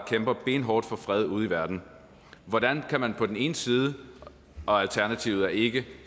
kæmper benhårdt for fred ude i verden hvordan kan man på den ene side og alternativet er ikke